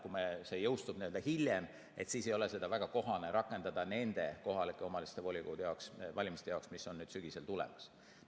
Kui see jõustub hiljem, siis ei ole seda väga kohane rakendada nende kohalike omavalitsuste volikogude valimistel, mis nüüd sügisel tulevad.